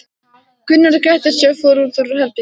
Gunnar gretti sig og fór út úr herberginu.